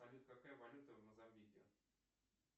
салют какая валюта в мозамбике